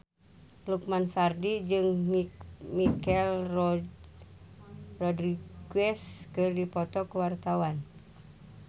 Lukman Sardi jeung Michelle Rodriguez keur dipoto ku wartawan